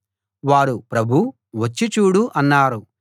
వారు ప్రభూ వచ్చి చూడు అన్నారు